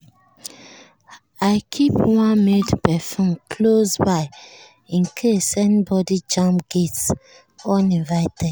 i keep one mild perfume close by in case anybody jam gate uninvited.